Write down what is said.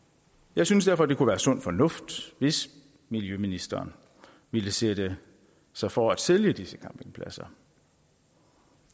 jeg synes derfor det kunne være sund fornuft hvis miljøministeren ville sætte sig for at sælge disse campingpladser